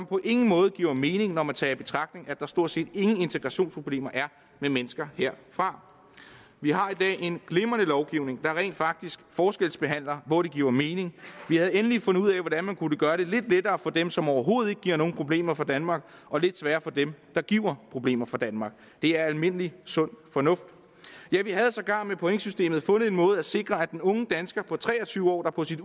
på ingen måde mening når man tager i betragtning at der stort set ingen integrationsproblemer er med mennesker herfra vi har i dag en glimrende lovgivning der rent faktisk forskelsbehandler hvor det giver mening vi havde egentlig fundet ud af hvordan man kunne gøre det lidt lettere for dem som overhovedet ikke giver nogen problemer for danmark og lidt sværere for dem der giver problemer for danmark det er almindelig sund fornuft ja vi havde sågar med pointsystemet fundet en måde at sikre at den unge dansker på tre og tyve år der på sit